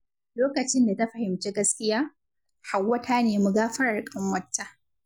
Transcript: Lokacin da ta fahimci gaskiya, Hauwa ta nemi gafarar ƙanwarta.